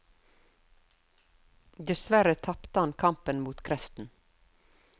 Dessverre tapte han kampen mot kreften.